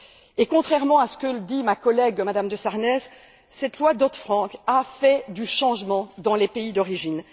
Et, contrairement à ce que dit ma collègue, Mme de Sarnez, cette loi Dodd Frank a apporté du changement dans les pays d'origine.